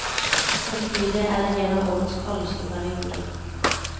Samtidig er det en av årets kaldeste perioder.